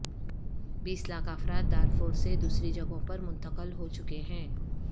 بیس لاکھ افراد دارفور سے دوسری جگہوں پر منتقل ہو چکے ہیں